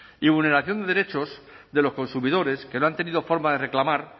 y vulneración de derechos de los consumidores que no han tenido forma de reclamar